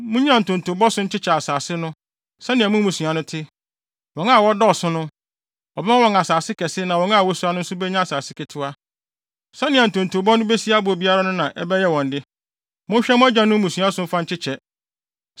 Munnyina ntontobɔ so nkyekyɛ asase no, sɛnea mo mmusua no te. Wɔn a wɔdɔɔso no, wɔbɛma wɔn asase kɛse na wɔn a wosua no nso benya asase ketewa. Sɛnea ntonto no besi abɔ biara no na ɛbɛyɛ wɔn de. Monhwɛ mo agyanom mmusua so mfa nkyekyɛ.